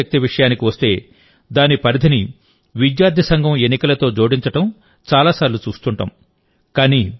విద్యార్థి శక్తి విషయానికి వస్తే దాని పరిధిని విద్యార్థి సంఘం ఎన్నికలతో జోడించడం చాలా సార్లు చూస్తుంటాం